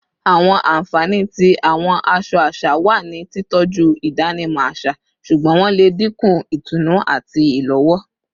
Awọn anfani ti awọn aṣọ aṣa wa ni titọju idanimọ aṣa, ṣugbọn wọn le dinku itunu ati ilowo